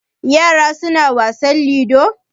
Yara suna wasan ludo?